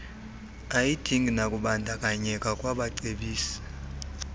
ayidingi nakubandakanyeka kwabacebisi